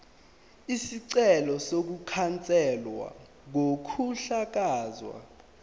isicelo sokukhanselwa kokuhlakazwa